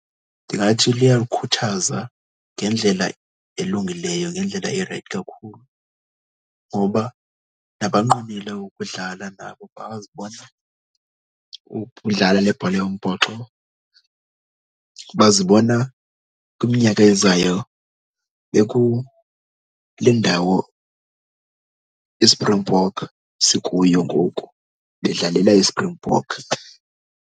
Ndingathi luyakhuthaza ngendlela elungileyo, ngendlela erayithi kakhulu ngoba nabanqwenele ukudlala nabo. Bazibona ukudlala lebhola yombhoxo, bazibona kwiminyaka ezayo bekule ndawo iSpringbok sikuyo ngoku, bedlalela iSpringbok.